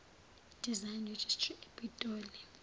design registry epitoli